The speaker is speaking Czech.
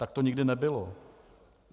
Tak to nikdy nebylo.